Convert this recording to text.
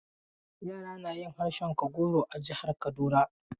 Yara na yin harshen Kagoro a jihar Kaduna.